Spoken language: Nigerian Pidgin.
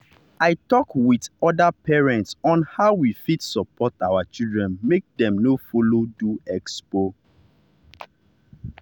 i talk with with other parents on how we fit support our children make dem no follow do expo.